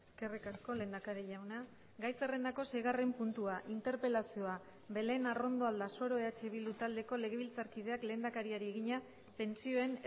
eskerrik asko lehendakari jauna gai zerrendako seigarren puntua interpelazioa belén arrondo aldasoro eh bildu taldeko legebiltzarkideak lehendakariari egina pentsioen